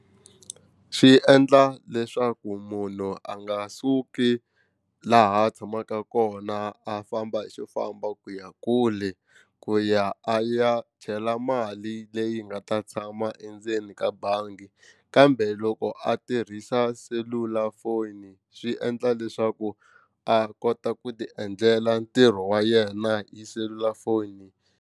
Swi endla leswaku munhu a nga suki laha a tshamaka kona a famba hi xofamba ku ya kule ku ya a ya chela mali leyi nga ta tshama endzeni ka bangi kambe loko a tirhisa selulafoni swi endla leswaku a kota ku ti endlela ntirho wa yena hi selulafoni.